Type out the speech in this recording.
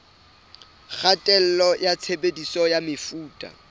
kgatello ya tshebediso ya mefuta